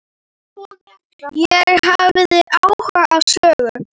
Ég hafði áhuga á sögu